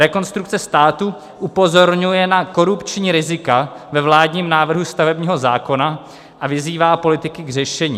Rekonstrukce státu upozorňuje na korupční rizika ve vládním návrhu stavebního zákona a vyzývá politiky k řešení: